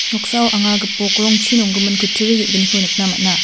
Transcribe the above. noksao anga gipok rongchi nongimin kutturi ge·gniko nikna man·a.